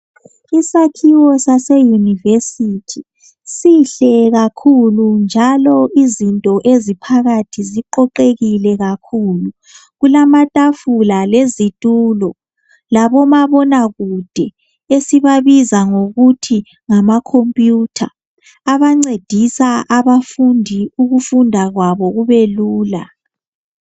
Isakhiwo sase university sihle kakhulu njalo izinto eziphakathi ziqoqekile kakhulu kulamatafula lezitulo labomabonakude esibabiza ngokuthi ngama computer ancedisa abafundi ukufunda kwabo kubelula